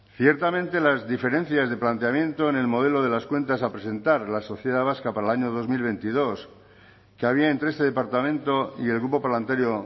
ciertamente las diferencias de planteamiento en el modelo de las cuentas a presentar a la sociedad vasca para el año dos mil veintidós que había entre este departamento y el grupo parlamentario